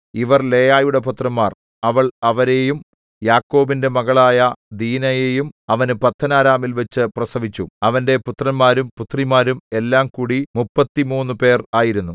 ഇവർ ലേയായുടെ പുത്രന്മാർ അവൾ അവരെയും യാക്കോബിന്റെ മകളായ ദീനയെയും അവന് പദ്ദൻഅരാമിൽവച്ചു പ്രസവിച്ചു അവന്റെ പുത്രന്മാരും പുത്രിമാരും എല്ലാംകൂടി മുപ്പത്തിമൂന്നു പേർ ആയിരുന്നു